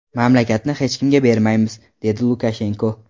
Mamlakatni hech kimga bermaymiz”, dedi Lukashenko.